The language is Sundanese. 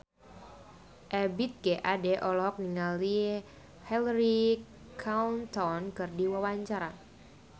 Ebith G. Ade olohok ningali Hillary Clinton keur diwawancara